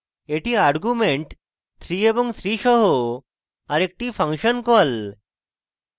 এটি arguments 3 এবং 3 সহ আরেকটি ফাংশন call